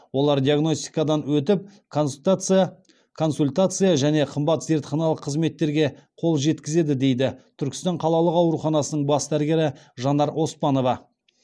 олар диагностикадан өтіп консультация және қымбат зертханалық қызметтерге қол жеткізеді дейді түркістан қалалық ауруханасының бас дәрігері жанар оспанова